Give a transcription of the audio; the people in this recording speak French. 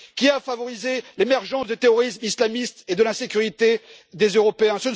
Qui a favorisé l'émergence du terrorisme islamiste et de l'insécurité des Européens?